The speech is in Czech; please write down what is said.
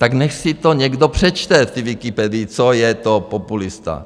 Tak nechť si to někdo přečte v té Wikipedii, co je to populista.